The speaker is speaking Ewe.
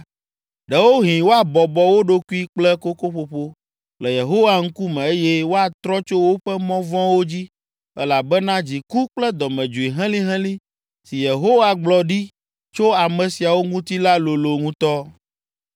Ɖewohĩ woabɔbɔ wo ɖokui kple kokoƒoƒo le Yehowa ŋkume eye woatrɔ tso woƒe mɔ vɔ̃wo dzi elabena dziku kple dɔmedzoe helĩhelĩ si Yehowa gblɔ ɖi tso ame siawo ŋuti la lolo ŋutɔ.”